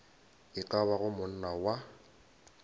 e ka bago monna wa